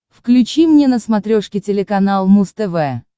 включи мне на смотрешке телеканал муз тв